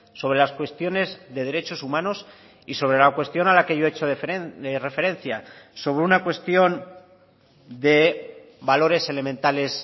sobre las cuestiones de derechos humanos y sobre la cuestión a la que yo he hecho referencia sobre una cuestión de valores elementales